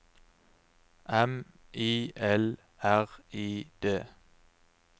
M I L R I D